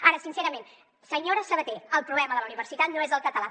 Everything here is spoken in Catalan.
ara sincerament senyora sabater el problema de la universitat no és el català